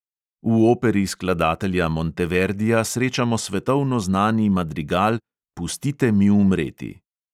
V operi skladatelja monteverdija srečamo svetovno znani madrigal "pustite mi umreti".